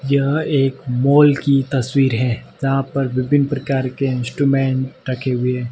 यह एक मॉल की तस्वीर है जहां पर विभिन्न प्रकार के इंस्ट्रूमेंट रखे हुए--